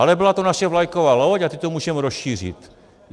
Ale byla to naše vlajková loď a teď to můžeme rozšířit.